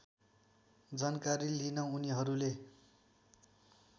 जानकारी लिन उनीहरूले